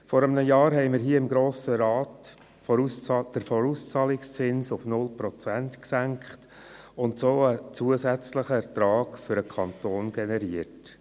Vor einem Jahr hatten wir hier im Grossen Rat im Rahmen der Spardebatte den Vorauszahlungszins auf 0 Prozent gesenkt und somit einen zusätzlichen Ertrag für den Kanton generiert.